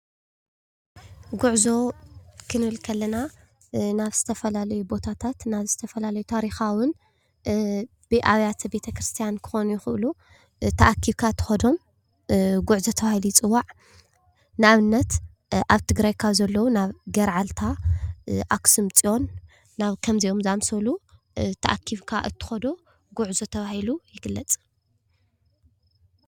ጉዕዞ ክንብል ከለና ናብ ዝተፈላለዩ ቦታታት ናብ ዝተፈላለዩ ታርካውን ኣብያተ ቤት ክርስትያናት ክኾኑ ይኽእሉ፣ ተኣኪብካ ትኾዶ ጉዕዞ ተባሂሉ ይፅዋዕ። ንኣብነት ኣብ ትግራይ ካብ ዘለዉ ናብ ገርዓልታ ፣ኣክሱም ፅዮን ናብ ከምእዚኦም ዘኣምሰሉ ተኣኪብካ ትኾዶ ጉዕዞ ተባሂሉ ይግለፅ።